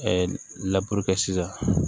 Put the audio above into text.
kɛ sisan